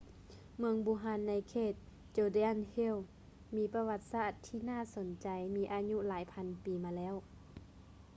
ເມືອງບູຮານໃນເຂດ judean hills ມີປະຫວັດສາດທີ່ໜ້າສົນໃຈມີອາຍຸຫຼາຍພັນປີມາແລ້ວ